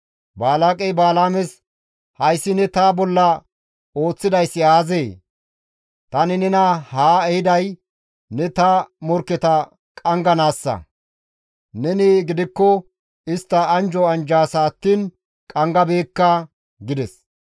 Balaaqey Balaames, «Hayssi ne ta bolla ooththidayssi aazee? Tani nena haa ehiday ne ta morkketa qangganaassa; neni gidikko istta anjjo anjjadasa attiin qanggabeekka» gides.